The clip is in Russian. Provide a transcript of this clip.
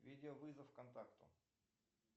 видео вызов контакту